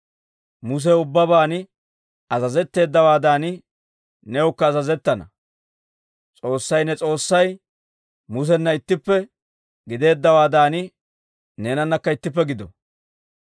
Musew ubbaban azazetteeddawaadan, newukka azazettana. S'oossay ne S'oossay Musena ittippe gideeddawaadan, neenanakka ittippe gido.